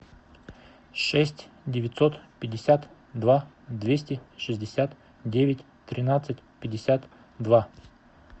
шесть девятьсот пятьдесят два двести шестьдесят девять тринадцать пятьдесят два